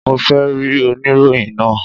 Mo fe ri oniroyin naa!